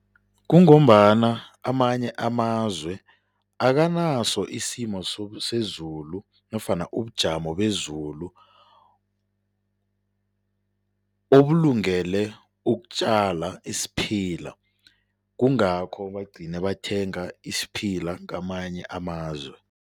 Kungombana amanye amazwe akanaso isimo sezulu nofana ubujamo bezulu obulungele ukutjala isiphila, kungakho bagcine bathenga isiphila kamanye amazwe.